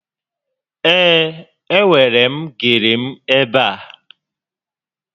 Ee, e nwèrè m gele m ebe a